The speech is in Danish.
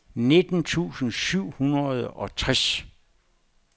nitten tusind syv hundrede og tres